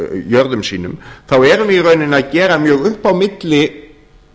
jörðum sínum þá erum við í rauninni að gera mjög upp á milli